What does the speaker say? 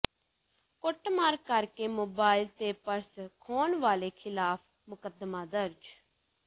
ਕੁੱਟਮਾਰ ਕਰ ਕੇ ਮੋਬਾਈਲ ਤੇ ਪਰਸ ਖੋਹਣ ਵਾਲੇ ਿਖ਼ਲਾਫ਼ ਮੁਕੱਦਮਾ ਦਰਜ